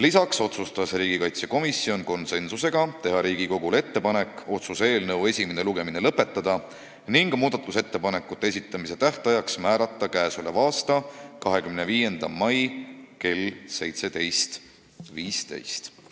Lisaks otsustas komisjon samuti konsensusega teha Riigikogule ettepaneku otsuse eelnõu esimene lugemine lõpetada ning muudatusettepanekute esitamise tähtajaks määrata k.a 25. mai kell 17.15.